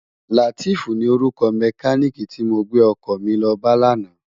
Lateef ni órúkò mèkánikí ti mó gbé òkò mi lò bá làná